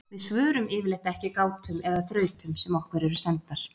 Við svörum yfirleitt ekki gátum eða þrautum sem okkur eru sendar.